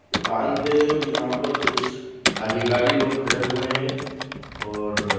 बांध है और यहां पर कुछ अधिकारी लोग खड़े हुए हे और--